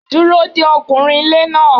Dúró de ọkùnrin ilé náà.